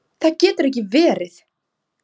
Það getur ekki verið.